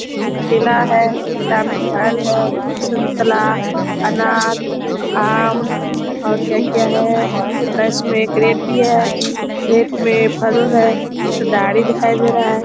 ये एक ठेला है। ठेला में फल है। संतरा अनार आम और क्या-क्या है। एक इसमें कैरट भी है। कैरट में फलो है। ई ठो गाड़ी दिखाई दे रहा है।